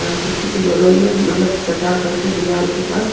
उसी के बगल में मतलब सटा करके दिवाल के पास।